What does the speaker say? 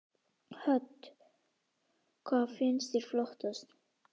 Hödd: Hvað finnst þér flottast?